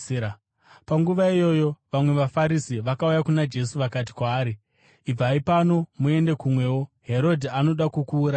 Panguva iyoyo vamwe vaFarisi vakauya kuna Jesu vakati kwaari, “Ibvai pano muende kumwewo. Herodhi anoda kukuurayai.”